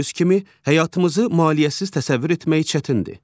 Gördüyünüz kimi, həyatımızı maliyyəsiz təsəvvür etmək çətindir.